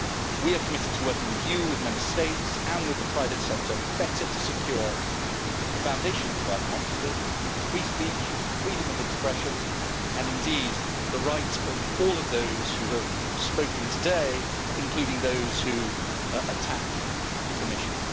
We are committed to working with you, with Member States and with the private sector better to secure the foundations of our democracy free speech, freedom of expression, and indeed the right of all of those who have spoken today, including those who attacked the Commission.